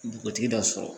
Dugutigi dɔ sɔrɔ